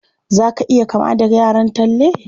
Za ka iya kama da yaran Talle?